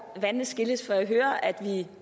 vandene skilles for jeg hører at vi